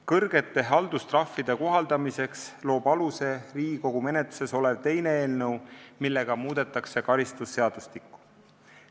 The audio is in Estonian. Kõrgete haldustrahvide kohaldamiseks loob aluse Riigikogu menetluses olev teine eelnõu, millega muudetakse karistusseadustikku.